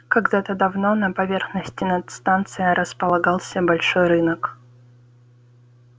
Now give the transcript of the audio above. когда-то давно на поверхности над станцией располагался большой рынок